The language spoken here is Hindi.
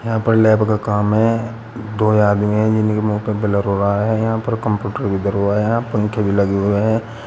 यहां पर लैब का काम है। दो आदमी हैं जिनके मुंह पर ब्लर हो रहा हैं। यहां पर कंप्यूटर भी दर हुआ है। यहां पंखे भी लगे हुए हैं।